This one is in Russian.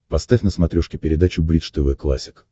поставь на смотрешке передачу бридж тв классик